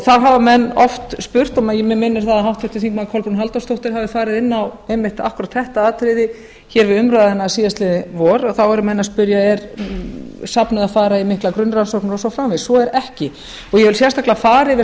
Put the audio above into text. það hafa menn oft spurt mig minnir að háttvirtir þingmenn kolbrún halldórsdóttir hafi farið inn á einmitt akkúrat þetta atriði hér við umræðuna síðastliðið vor þá eru menn að spyrja er safnið að fara í miklar grunnrannsóknir og svo framvegis svo er ekki ég vil sérstaklega fara yfir